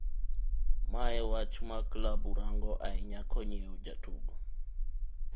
Mae wach ma klabu rango ahinya konyiew jatugo.